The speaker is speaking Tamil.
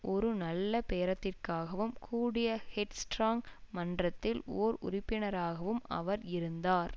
ஒரு நல்ல பேரத்திற்காகவும் கூடிய ஹெட்ஸ்டார்ங் மன்றத்தில் ஓர் உறுப்பினராகவும் அவர் இருந்தார்